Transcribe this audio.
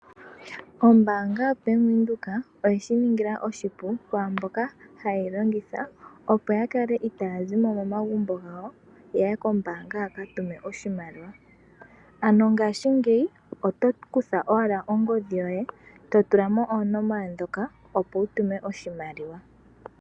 Ombaanga yaBank Windhoek oye shiningila oshipu kwaamboka haye yilongitha opo yakale itaayazimo momagumbo yaye kombaanga yakatume oshimaliwa, ano ngaashingeyi oto kutha owala ongodhi yoye to tulamo oonomola dhoka opo wutume oshimaliwa.